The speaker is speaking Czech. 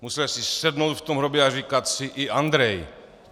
Musel si sednout v tom hrobě a říkat si: I Andrej.